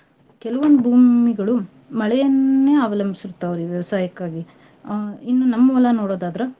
ಕೆಲವೊಂದ್ ಭೂಮಿಗಳು ಮಳೆಯನ್ನೇ ಅವಲಂಬ್ಸಿರ್ತಾವ್ರಿ ವ್ಯವಸಾಯಕ್ಕಾಗಿ. ಅಹ್ ಇನ್ನು ನಮ್ ಹೊಲ ನೋಡೋದಾದ್ರ